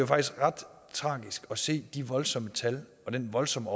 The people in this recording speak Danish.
faktisk ret tragisk at se de voldsomme tal og den voldsomme